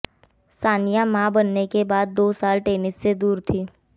सानिया मां बनने के बाद दो साल टेनिस से दूर थीं